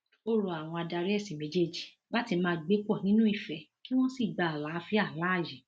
ó rọ àwọn adarí ẹsìn méjèèjì láti máa gbé pọ nínú ìfẹ kí wọn sì gba àlàáfíà láàyè